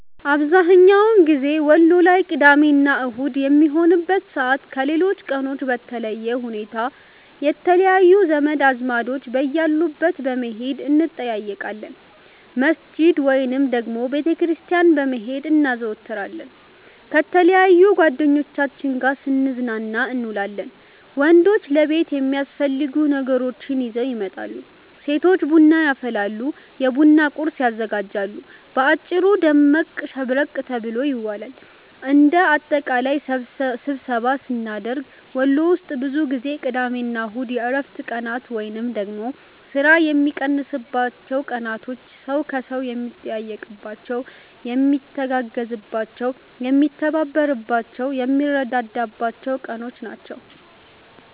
አብዝሀኛውን ጊዜ ወሎ ላይ ቅዳሜ እና አሁድ በሚሆንበት ሰዓት ከሌሎች ቀኖች በለየ ሁኔታ የተለያዩ ዘመድ አዝማዶች በያሉበት በመሄድ እንጠይቃለን፣ መስጅድ ወይንም ደግሞ ቤተ ክርስቲያን በመሄድ እናዘወትራለን፣ ከተለያዩ ጓደኞቻችን ጋር ስንዝናና እንውላለን። ወንዶች ለቤት የሚያስፈልጉ ነገራቶችን ይዘው ይመጣሉ፤ ሴቶች ቡና ያፈላሉ፤ የቡና ቁርስ ያዘጋጃሉ። በአጭሩ ደመቅ ሸብረቅ ተብሎ ይዋላል። እንደ አጠቃላይ ሰብሰብ ስናደርገው ወሎ ውስጥ ብዙ ጊዜ ቅዳሜ እና እሁድ የእረፍት ቀናት ወይንም ደግሞ ስራ የሚቀንስባቸው ቀናቶች፣ ሰው ከሰው የሚጠያየቅባቸው፣ የሚተጋገዝባቸው፣ የሚተባበርባቸው፣ የሚረዳዳበት ቀናቶች ናቸው።